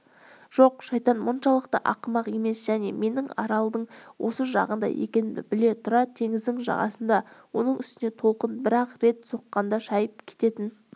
жоқ шайтан мұншалықты ақымақ емес және менің аралдың осы жағында екенімді біле тұра теңіздің жағасында оның үстіне толқын бір-ақ рет соққанда шайып кететін